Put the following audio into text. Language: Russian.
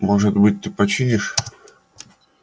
может быть ты починишь